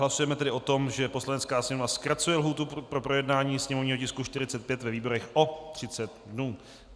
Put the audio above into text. Hlasujeme tedy o tom, že Poslanecká sněmovna zkracuje lhůtu pro projednání sněmovního tisku 45 ve výborech o 30 dnů.